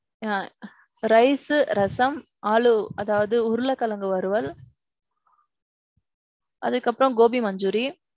ஆ. rice rasam aloo அதாவது உருள கிழங்கு வறுவல். அதுக்கு அப்பறோம் gobi manchuri.